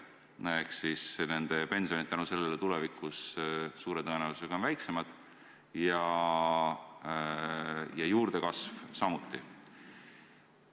Nende pensionid on selle tõttu tulevikus suure tõenäosusega väiksemad ja juurdekasv samuti.